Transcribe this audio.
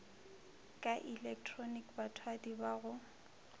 ka ilektroniki bathwadi ba go